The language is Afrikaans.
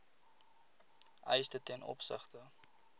eise ten opsigte